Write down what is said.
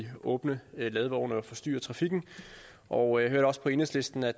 åbne ladvogne og forstyrrer trafikken og jeg hørte også på enhedslisten at